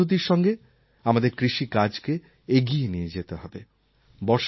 বৈজ্ঞানিক পদ্ধতির সঙ্গে আমাদের কৃষিকাজকে এগিয়ে নিয়ে যেতে হবে